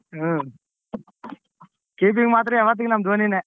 ಹ್ಮ್ keeping ಮಾತ್ರ ಯಾವತ್ತಿಗೂ ನಮ್ಮ್ ದೋನಿನೇ.